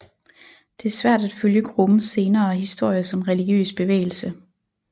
Det er svært at følge gruppens senere historie som religiøs bevægelse